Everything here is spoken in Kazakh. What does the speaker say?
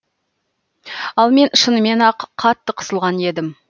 ал мен шынымен ақ қатты қысылған едім